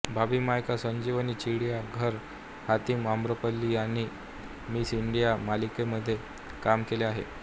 भाभी मायका संजीवनी चिडीया घर हातीम आम्रपाली आणि Miss India या मालिकांमध्येही काम केले आहे